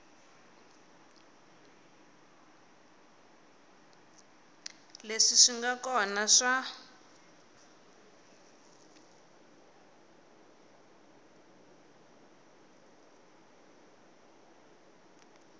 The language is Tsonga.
leswi swi nga kona swa